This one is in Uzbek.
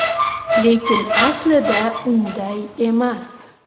Lekin aslida unday emas.